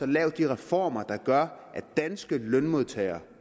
lave de reformer der gør at danske lønmodtagere